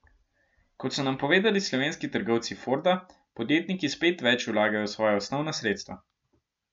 Kot so nam povedali slovenski trgovci Forda, podjetniki spet več vlagajo v svoja osnovna sredstva.